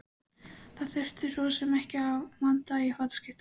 Það þurfti svo sem ekki að vanda til fataskiptanna.